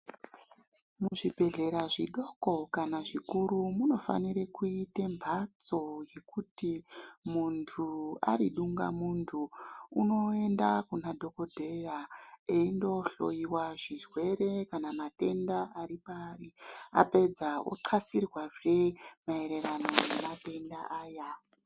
Muzvibhedhlera zvidoko kana zvikuru munofanire kuita mbatso yekuti muntu ari dungamuntu unoenda kuna dhokodheya eindohloiwa zvirwere kana matenda aripaari apedza oxasirwazve maererano nematenda aya.